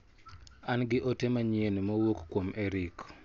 An gi ote manyien mowuok kuom Eric.